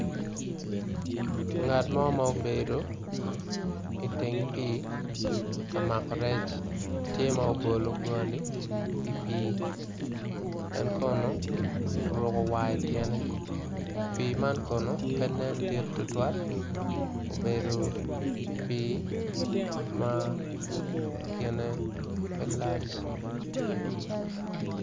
Ngat mo ma obedo i tyeng pii obedo tye ka mako rec en kono omako rec pi neno kono kin pe lac